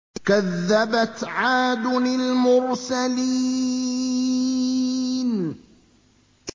كَذَّبَتْ عَادٌ الْمُرْسَلِينَ